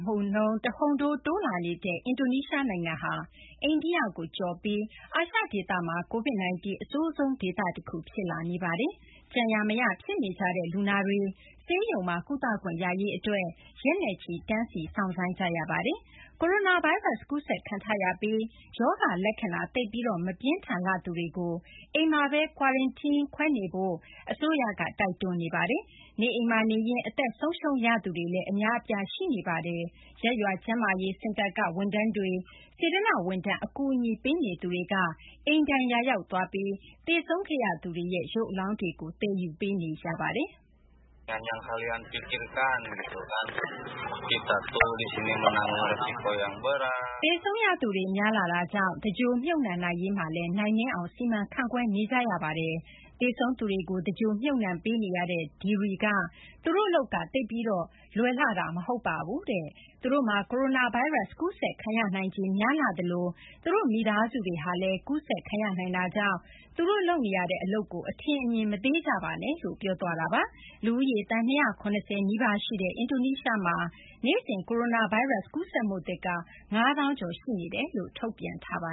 မှုနှုန်း တဟုန်ထိုး တိုးလာနေတဲ့ အင်ဒိုနီးရှား နိုင်ငံဟာ အိန္ဒိယကို ကျော်ပြီး အာရှဒေသမှာ Covid-19 အဆိုးဆုံး ဒေသတခု ဖြစ်လာနေပါတယ်။ ကြံရာ မရ ဖြစ်နေကြတဲ့ လူနာတွေ ဆေးရုံမှာ ကုသခွင့်ရရေး အတွက် ရက်နဲ့ချီ စောင့်ဆိုင်းနေရပါတယ်။ ကိုရိုနာဗိုင်းရပ်စ် ကူးစက်ခံထားရပြီး ရောဂါ လက္ခဏာ သိပ်ပြီး မပြင်းထန်လှသူတွေကိုတော့ အိမ်မှာဘဲ Quarantien ခွဲနေဖို့ အစိုးရက တိုက်တွန်းနေပါတယ်။ အိမ်မှာဘဲ အသက်ဆုံးရှုံးသွားရသူတွေလည်း အများအပြား ရှိနေပါတယ်။ ရပ်ရွာ ကျန်းမာရေး စင်တာက ဝန်ထမ်းတွေ၊ စေတနာ့ ဝန်ထမ်း အကူအညီပေးသူတွေက အိမ်တိုင်ယာရောက် သွားပြီး သေဆုံးသူတွေရဲ့ ရုပ်အလောင်းတွေကို သယ်ယူပေးနေကြရပါတယ်။ သေဆုံးရသူတွေ များလာတာကြောင့် သင်္ဂြ ိုဟ် မြှုပ်နှံရေးမှာလည်း နိုင်နင်းအောင် စီမံခန့်ခွဲနေကြရပါတယ်။ သေဆုံးသူတွေကို သင်္ဂြ ိုဟ် မြှုပ်နှံပေးရသူ Deri က သူတို့ အလုပ်က သိပ်ပြီး မလွယ်လှပါဘူးတဲ့။ သူတို့မှာ ကိုရိုနာဗိုင်းရပ်စ် ကူးစက်ခံရနိုင်ခြေ များလှသလို သူတို့ မိသားစုတွေကိုလည်း ကူးစက်ခံရနိုင်တာကြောင့် သူတို့လုပ်နေရတဲ့ အလုပ်ကို အထင်အမြင် မသေးကြပါနဲ့လို့ ပြောခဲ့ပါတယ်။ လူဦးရေ သန်း ၂၇၀ နီးပါး ရှိတဲ့ အင်ဒိုနီးရှား နိုင်ငံမှာ နေ့စဉ် ကိုရိုနာဗိုင်းရပ်စ် ကူးစက်မှုသစ်က ၅၀,၀၀၀ ကျော်ရှိနေကြောင်း ထုတ်ပြန်ထားပ